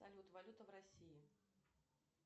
салют валюта в россии